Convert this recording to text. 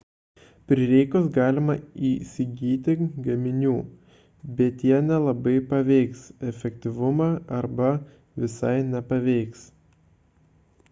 prireikus galima įsigyti gaminių bet jie nelabai paveiks efektyvumą arba visai nepaveiks